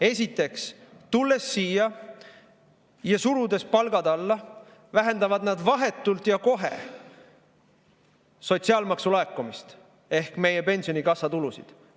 Esiteks, tulles siia ja surudes palgad alla, vähendavad nad vahetult ja kohe sotsiaalmaksu laekumist ehk meie pensionikassa tulusid.